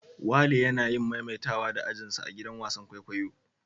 Wale yana yin maimaitawa da ajin sa a'gidan wasan kwaikwayo.